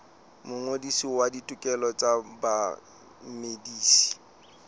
mongodisi wa ditokelo tsa bamedisi